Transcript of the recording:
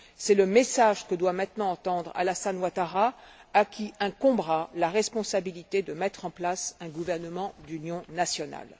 C'est le message que doit maintenant entendre Alassane Ouattara, à qui incombera la responsabilité de mettre en place un gouvernement d'union nationale.